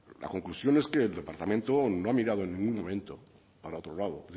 la conclusión es que el departamento no ha mirado en ningún momento para otro lado